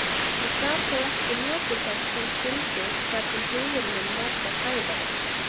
Ég gat þó ekki notið þess sem skyldi þar sem hugur minn var hjá Sævari.